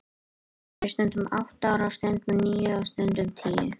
Þá var ég stundum átta ára, stundum níu og stundum tíu.